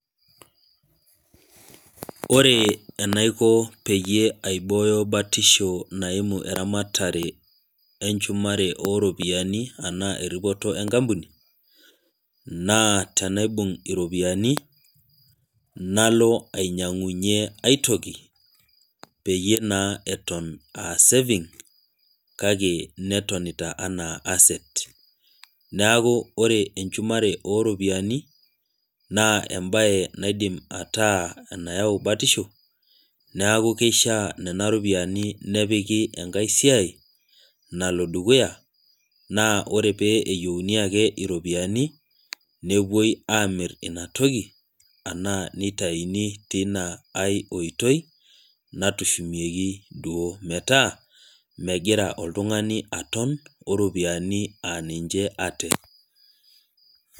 ore enaiko peyie aibooyo batisho naimu eramatare eripoto ooropiyiani anaa enenkampuni, naa tenaibung' iropiyiani nalo ainyiang'unye aitoki, peyie naa eton aa saving kake netonita anaa asset neeku ore enhumare oo ropiyiani naa ebae naidim ataa enayau batisho, neku kishaa nena ropiyiani nepiki enkae siai nalo dukuya. naa ore pee eyieuni ake iropiyiani nepuoi amir ina toki anaa nitayini teina ae oitoi, natushumieki duo, metaa meigira oltungani aton, oropiyiani aa ninche ate.